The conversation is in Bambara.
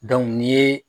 ni ye